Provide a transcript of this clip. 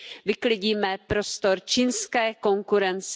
vyklidíme prostor čínské konkurenci.